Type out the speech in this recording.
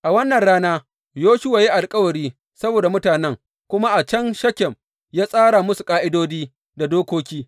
A wannan rana Yoshuwa ya yi alkawari saboda mutanen, kuma a can Shekem ya tsara musu ƙa’idodi da dokoki.